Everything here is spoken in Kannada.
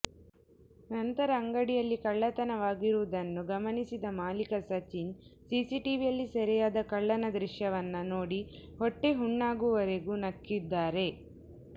ನಂತರ ಅಂಗಡಿಯಲ್ಲಿ ಕಳ್ಳತನವಾಗಿರುವುದನ್ನು ಗಮನಿಸಿದ ಮಾಲೀಕ ಸಚಿನ್ ಸಿಸಿಟಿವಿಯಲ್ಲಿ ಸೆರೆಯಾದ ಕಳ್ಳನ ದೃಶ್ಯವನ್ನ ನೋಡಿ ಹೊಟ್ಟೆಹುಣ್ಣಾಗುವರೆಗೂ ನಕ್ಕಿದ್ದಾರೆ